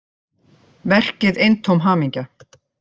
Verkið eintóm hamingja